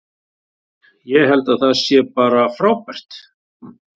Ég held að það sé bara frábært.